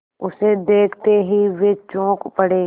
उसे देखते ही वे चौंक पड़े